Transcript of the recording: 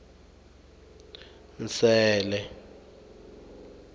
nsele